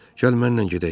Gəl mənlə gedək.